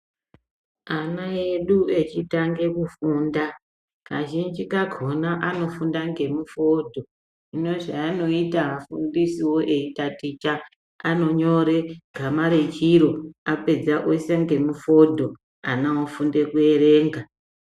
Ana edu echitange kufunda kazhinji kakona ano funda nge mifodho hino zva anoita afundisiwo eyi taticha ano nyore gama rechiro apedza oyisa ngemu fodho ana ofunda ku erenga.